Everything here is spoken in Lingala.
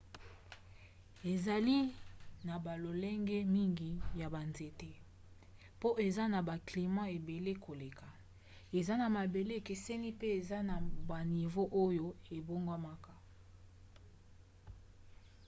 ezali na balolenge mingi ya banzete mpo eza na baclimat ebele koleka eza na mabele ekeseni mpe eza na banivo oyo ebongwanaka